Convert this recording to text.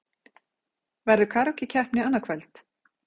Verður karókí-keppni annað kvöld?